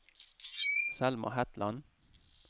Selma Hetland